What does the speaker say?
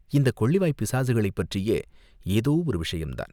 இந்தக் கொள்ளிவாய்ப் பிசாசுகளைப் பற்றிய ஏதோ ஒரு விஷயந்தான்.